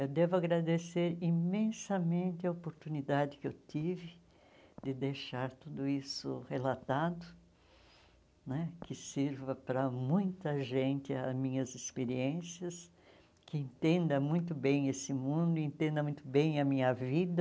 Eu devo agradecer imensamente a oportunidade que eu tive de deixar tudo isso relatado né, que sirva para muita gente as minhas experiências, que entenda muito bem esse mundo, entenda muito bem a minha vida.